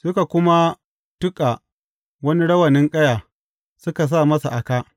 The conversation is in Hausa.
Suka kuma tuƙa wani rawanin ƙaya, suka sa masa a kā.